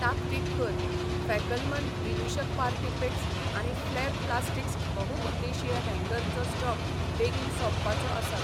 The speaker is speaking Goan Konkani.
ताकतीक कर, फॅकलमन विदूषक पार्टी पिक्स आनी फ्लॅर प्लास्टिक्स बहुउद्देशीय हॅंगर चो स्टॉक बेगीन सोंपपाचो आसा.